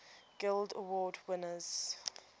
guild award winners